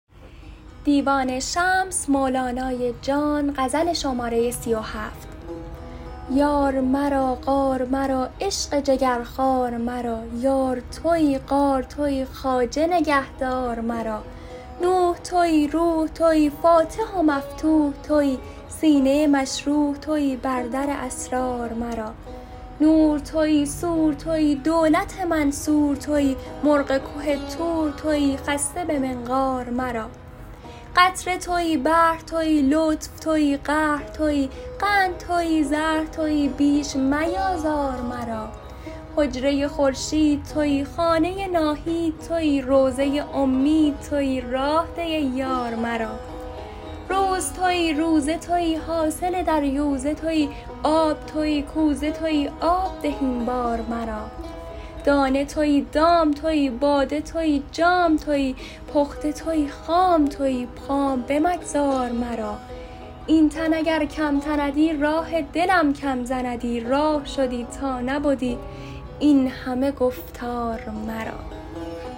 یار مرا غار مرا عشق جگرخوار مرا یار تویی غار تویی خواجه نگهدار مرا نوح تویی روح تویی فاتح و مفتوح تویی سینه مشروح تویی بر در اسرار مرا نور تویی سور تویی دولت منصور تویی مرغ که طور تویی خسته به منقار مرا قطره تویی بحر تویی لطف تویی قهر تویی قند تویی زهر تویی بیش میآزار مرا حجره خورشید تویی خانه ناهید تویی روضه امید تویی راه ده ای یار مرا روز تویی روزه تویی حاصل دریوزه تویی آب تویی کوزه تویی آب ده این بار مرا دانه تویی دام تویی باده تویی جام تویی پخته تویی خام تویی خام بمگذار مرا این تن اگر کم تندی راه دلم کم زندی راه شدی تا نبدی این همه گفتار مرا